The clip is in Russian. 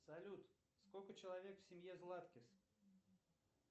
салют сколько человек в семье златкис